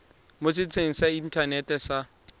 mo setsheng sa inthanete sa